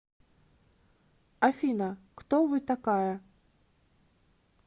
афина кто вы такая